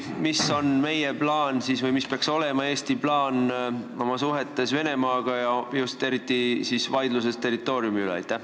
Mis on meie plaan või mis peaks olema Eesti plaan suhetes Venemaaga, eriti vaidluses territooriumi üle?